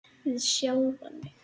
Við sjálfan mig.